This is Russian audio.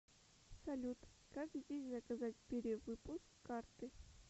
салют как здесь заказать перевыпуск карты